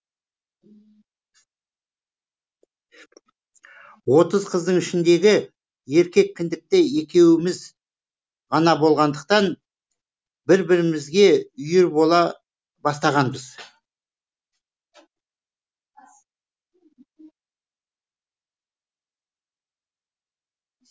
отыз қыздың ішіндегі еркек кіндікті екеуіміз ғана болғандықтан бір бірімізге үйір бола бастағанбыз